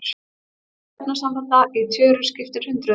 Fjöldi efnasambanda í tjöru skiptir hundruðum.